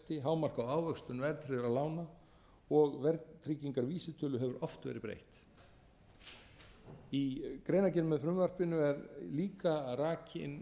hámark á ávöxtun verðtryggðra lána og verðtryggingarvísitölu hefur oft verið breytt í greinargerð með frumvarpinu er líka rakin